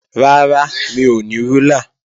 Rárá, mi ò ní rúlà